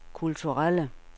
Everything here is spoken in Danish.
kulturelle